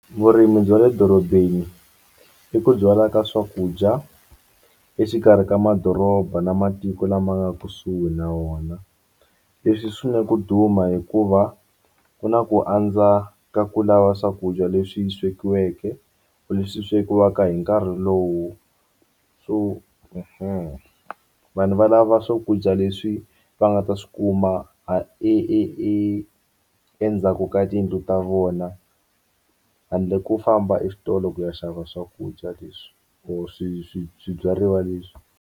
Vurimi bya le dorobeni i ku byala ka swakudya exikarhi ka madoroba na matiko lama nga kusuhi na wona leswi swi na ku duma hikuva ku na ku andza ka ku lava swakudya leswi swekiweke leswi swekiwaka hi nkarhi lowu vanhu va lava swakudya leswi va nga ta swi kuma a e e e endzhaku ka tiyindlu ta vona handle ko famba exitolo ku ya xava swakudya leswi or swibyariwa leswi.